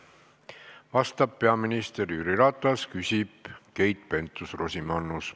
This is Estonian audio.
Vastab peaminister Jüri Ratas, küsib Keit Pentus-Rosimannus.